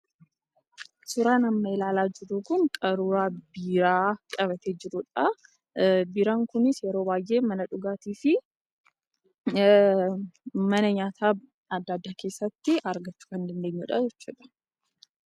Suuraan amma ilaalaa jirru kun qaruuraa biiraa qabatee jirudha. Biiraan kunis yeroo baayyee mana dhugaatiifi mana nyaataa addaddaa keessatti argachuu kan dandeenyudha jechuudha.